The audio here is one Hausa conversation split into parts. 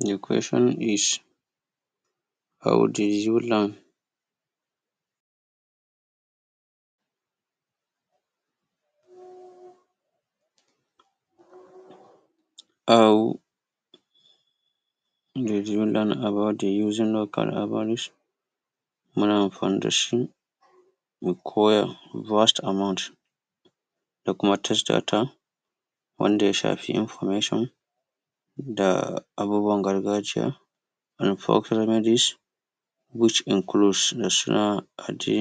the question is how do you learn how did you learn about the using of na amfani dashi mu koya vast amount da kuma testata wanda ya shafi information da abubuwan gargajiya which include national da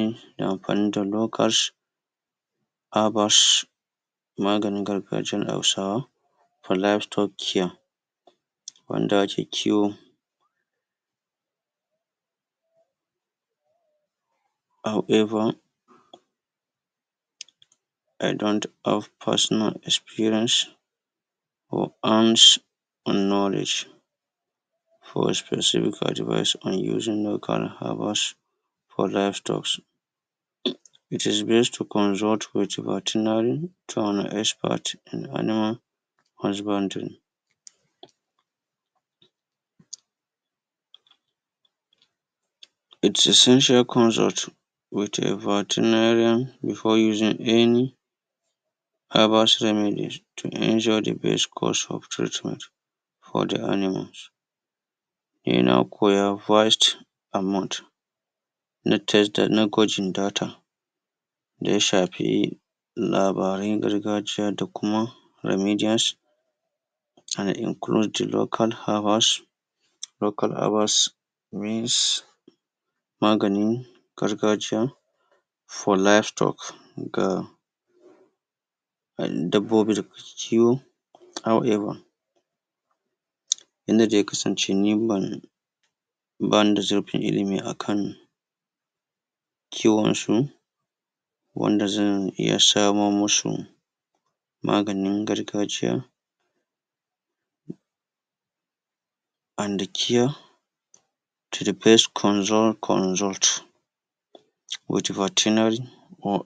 amfani da locash abash maganin gargajiyar hausawa polastocian wanda ake kiwo how ever i dont have personal experience in knowledge. for specific advice and using local herbals for life drugs its best to consult vertinary to an expert in animal husbandry. its essential consult with a vertinarian before using any herbal to the best course of treatment for the animals. yana koya vast amount na gwajin data da ya shafi labaran gargajiya da kuma remedians that include local herbals local herbals means maganin gargajiya for livestock ga dabbobi dake ciwo however yanda zai kasance ni ban bawanda zai fi ilimi akan kiwon su wanda zan iya samo musu maganin gargajiya and cure to the best consul consult with vertinary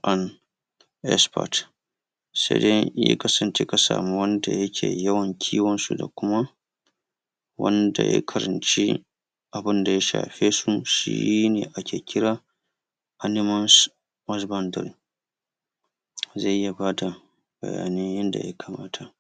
and expert. saidai in ya kasance ka samu wani wanda yake yawan kiwon su da kuma wanda ya karanci abunda ya shafe su shine ake kira animals husbandry zai iya bada bayani yanda ya kamata.